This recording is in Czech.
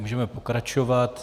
Můžeme pokračovat.